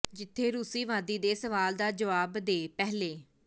ਜਿੱਥੇ ਰੂਸੀ ਵਾਦੀ ਦੇ ਸਵਾਲ ਦਾ ਜਵਾਬ ਦੇ ਪਹਿਲੇ